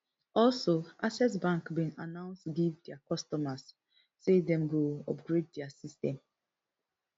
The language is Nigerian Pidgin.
also access bank bin announce give dia customers say dem go upgrade dia system